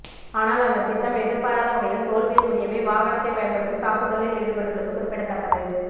ஆனால் அந்த திட்டம் எதிர்பாராத வகையில் தோல்வியில் முடியவே வாகனத்தை பயன்படுத்தி தாக்குதலில் ஈடுபட்டுள்ளது குறிப்பிடத்தக்கது